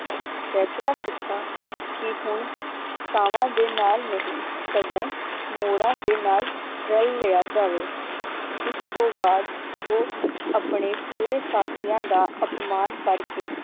ਫੈਸਲਾ ਕੀਤਾ ਕਿ ਹੁਣ ਕਾਵਾਂ ਦੇ ਨਾਲ ਨਹੀਂ ਸਗੋਂ ਮੋਰਾਂ ਦੇ ਨਾਲ ਰੱਲ ਲਿਆ ਜਾਵੇ ਇਸ ਤੋਂ ਬਾਅਦ ਉਹ ਆਪਣੇ ਪੂਰੇ ਸਾਥੀਆਂ ਦਾ ਅਪਮਾਨ ਕਰਕੇ